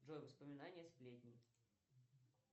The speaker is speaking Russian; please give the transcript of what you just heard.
джой воспоминания сплетни